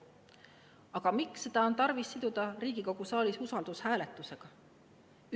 Aga miks seda on tarvis siduda Riigikogu saalis usaldushääletusega?